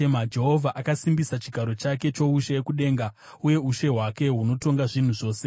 Jehovha akasimbisa chigaro chake choushe kudenga, uye ushe hwake hunotonga zvinhu zvose.